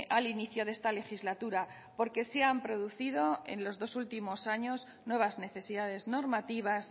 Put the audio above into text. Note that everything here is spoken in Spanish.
al inicio de esta legislatura porque se han producido en los dos últimos años nuevas necesidades normativas